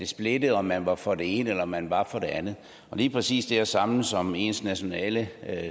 splitte om man var for det ene eller om man var for det andet lige præcis det at samles om ens nationale